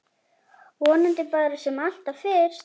Vonandi bara sem allra fyrst.